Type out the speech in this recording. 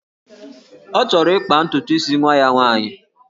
Ọ chọrọ ịkpa ntutu isi nwa ya nwaanyị